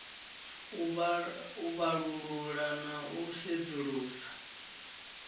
u vhalulula na u sedzulusa